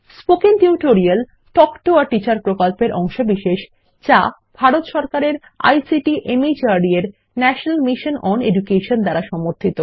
spoken tutorial talk to a teacher প্রকল্পের অংশবিশেষ যা ভারত সরকারের আইসিটি মাহর্দ এর ন্যাশনাল মিশন ওন এডুকেশন দ্বারা সমর্থিত